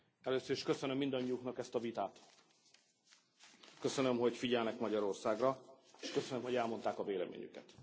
Először is köszönöm mindannyiuknak ezt a vitát. Köszönöm, hogy figyelnek Magyarországra, és köszönöm, hogy elmondták a véleményüket.